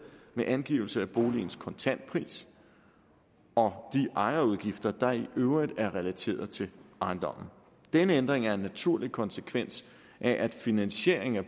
med angivelse af boligens kontantpris og de ejerudgifter der i øvrigt er relateret til ejendommen denne ændring af en naturlig konsekvens af at finansieringen af